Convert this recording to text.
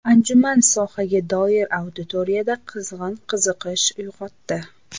Anjuman sohaga doir auditoriyada qizg‘in qiziqish uyg‘otdi.